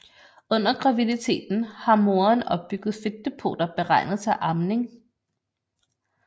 Under graviditeten har moderen opbygget fedtdepoter beregnet til amning